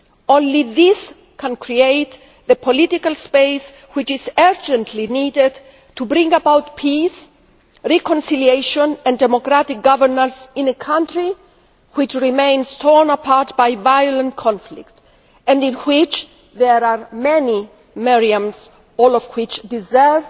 Only this can create the political space which is urgently needed to bring about peace, reconciliation and democratic governance in a country which remains torn apart by violent conflict and in which there are many Meriams, all of whom deserve